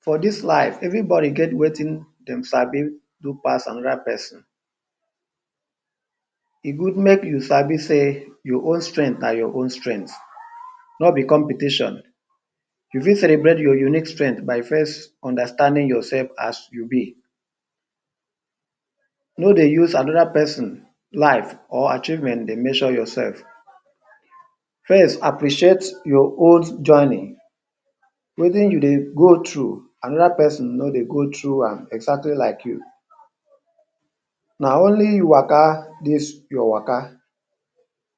For dis life, everybody get wetin dem sabi do pass another peson. E good make you sabi sey your own strength na your own strength, no be competition. You fit celebrate your unique strength by first understanding yoursef as you be. No dey use another peson life or achievement dey measure yoursef. First, appreciate your old journey. Wetin you dey go through, another peson no dey go through am exactly like you. Na only you waka dis your waka.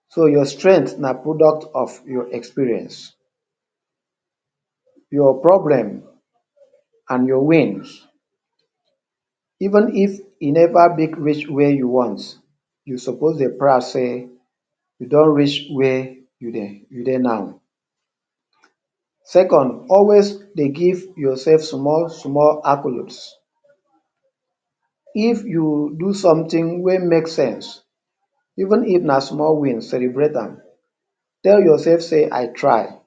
So, your strength na product of your experience, your problem, and your wins. Even if e neva big reach where you want, you suppose dey proud sey you don reach where you dey you dey now. Second, always dey give yoursef small-small accolades. If you do something wey make sense, even if na small win, celebrate am. Tell yoursef sey I try.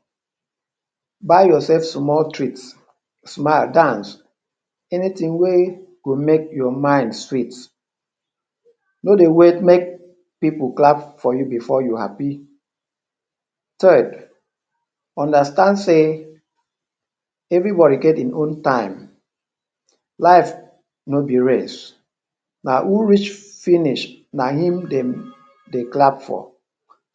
Buy yoursef small treat. Smile, dance, anything wey go make your mind sweet. No dey wait make pipu clap for you before you happy. Third, understand sey everybody get ein own time. Life no be race, na who reach finish na im dem dey clap for.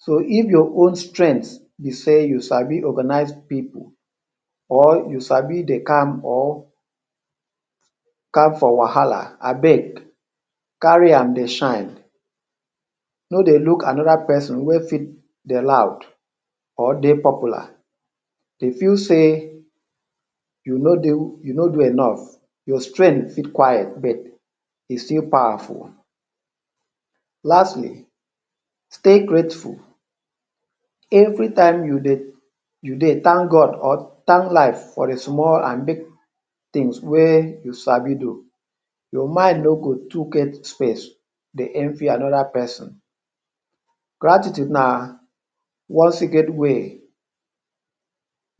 So, if your own strength be sey you sabi organise pipu, or you sabi dey calm or calm for wahala, abeg carry am dey shine. No dey look another peson wey fit dey loud or dey popular dey feel sey you no do you no do enough. Your strength fit quiet but e still powerful. Lastly, stay grateful. Every time you dey you dey thank God or thank life for the small an big tins wey you sabi do, your mind no go too get space dey envy another peson. Gratitude na one secret way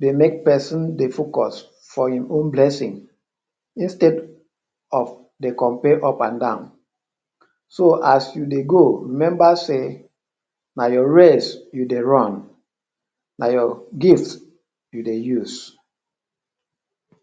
dey make peson dey focus for im own blessing instead of dey compare upandan. So, as you dey go, remember sey na your race you dey run, na your gift you dey use.